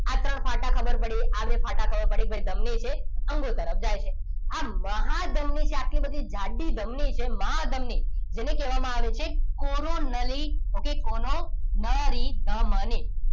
આ ત્રણ ફાટા ખબર પડી આ બે ફાટા ખબર પડી ગઈ ધમની છે અંગો તરફ જાય છે આ મહાધમની કે આટલી બધી જાડી ધમની જે મહાધમની જેને કહેવામાં આવે છે કોરોનરી okay કોરોનળી ધમની